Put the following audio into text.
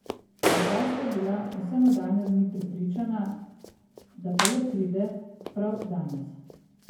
Midva sva bila vse nadaljnje dni prepričana, da pa le pride, prav danes.